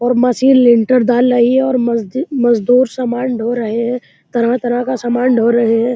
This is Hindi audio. और मशीन लिंटर डाल रही है और मजदी मज़दूर सामान ढो रहे हैं। तरह-तरह का सामान ढ़ो रहे हैं।